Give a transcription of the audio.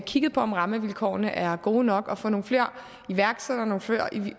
kigget på om rammevilkårene er gode nok og få nogle flere iværksættere og nogle flere